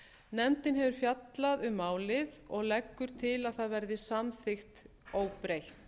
nefndin hefur fjallað um málið og leggur til að það verði samþykkt óbreytt